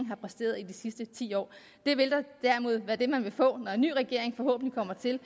har præsteret i de sidste ti år det vil derimod være det man vil få når en ny regering forhåbentlig kommer til